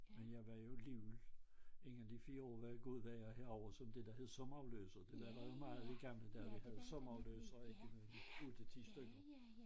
Men jeg var alligevel inden de 4 år var gået var jeg herovre som det der hed sommerafløser det der var jo meget i gamle dage vi havde sommerafløsere indimellem 8 10 styk